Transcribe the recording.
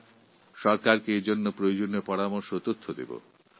আমি আমার সরকারকে সঠিক পরামর্শ ও তথ্য দেব